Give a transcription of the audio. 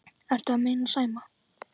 Ertu að meina Sæma?